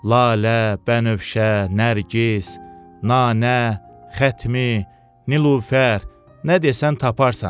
Lalə, bənövşə, nərgiz, nanə, xətmi, nilufər, nə desən taparsan.